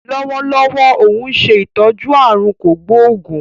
Lọ́wọ́lọ́wọ́ óun ṣe ìtọ́jú aàrùn kò gbóògún